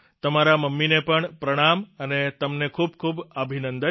તમારા મમ્મીને પણ પ્રણામ અને તમને ખૂબખૂબ અભિનંદન